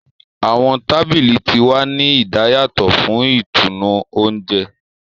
Awọn tábìlì tí wá ní idayatọ fún ìtùnú oúnjẹ.